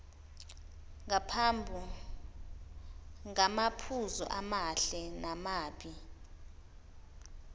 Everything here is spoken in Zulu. ngamaphuzu amahle namabi